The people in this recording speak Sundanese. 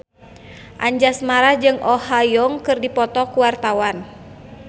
Anjasmara jeung Oh Ha Young keur dipoto ku wartawan